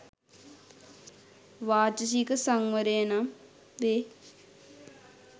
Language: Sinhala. වාචසික සංවරය නම් වේ.